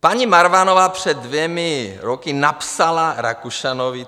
Paní Marvanová před dvěma roky napsala Rakušanovi.